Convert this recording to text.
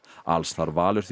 alls þarf Valur því